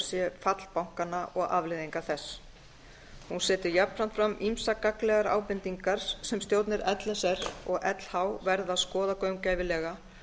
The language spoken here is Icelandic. sé fall bankanna og afleiðingar þess eins betur jafnframt fram ýmsar gagnlegar ábendingar sem stjórnir l s r og lh verða að skoða gaumgæfilega